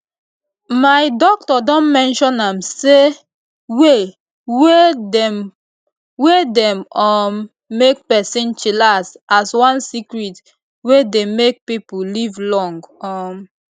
my doc don mention am say way way dem wey dey um make person chillax as one secret wey dey make pipo live long um